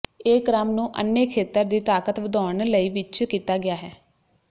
ਇਹ ਕ੍ਰਮ ਨੂੰ ਅੰਨ੍ਹੇ ਖੇਤਰ ਦੀ ਤਾਕਤ ਵਧਾਉਣ ਲਈ ਵਿੱਚ ਕੀਤਾ ਗਿਆ ਹੈ